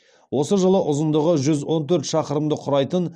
осы жылы ұзындығы жүз он төрт шақырымды құрайтын